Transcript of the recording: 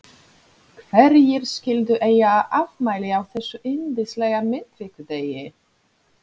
Hverjir skyldu eiga afmæli á þessum yndislega miðvikudegi?